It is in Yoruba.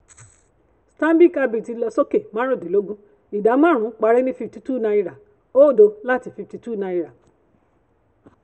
stanbic ibtc lọ sókè márùndínlógún ìdá márùn-ún parí ní fifty two naira oódo láti fifty two naira.